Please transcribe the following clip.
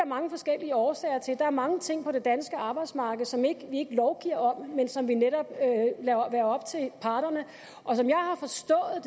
mange forskellige årsager til der er mange ting på det danske arbejdsmarked som vi ikke lovgiver om men som vi netop lader være op til parterne og som jeg har forstået